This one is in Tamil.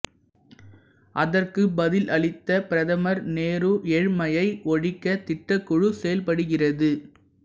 அதற்குப் பதிலளித்த பிரதமர் நேரு ஏழ்மையை ஒழிக்க திட்டக் குழு செயல்படுகிறது